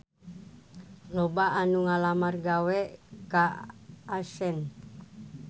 Loba anu ngalamar gawe ka Accent